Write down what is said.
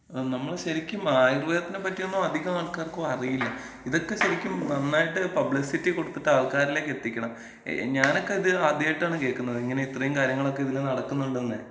ആ നമ്മള് ശരിക്കും ആയുർവേദത്തിനെ പറ്റിയൊന്നും അധികം ആൾക്കാർക്കും അറിയില്ല. ഇതൊക്കെ ശരിക്കും നന്നായിട്ട് പബ്ലിസിറ്റി കൊട്ത്തിട്ട് ആൾക്കാരിലേക്ക് എത്തിക്കണം. ഞാനൊക്കെ ഇത് ആദ്യായിട്ടാണ് കേക്കുന്നത്, ഇത്, ഇങ്ങനേം കാര്യങ്ങളൊക്കെ ഇതില് നടക്കുന്നുണ്ടെന്നെ.